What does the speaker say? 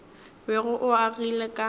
bego o o agile ka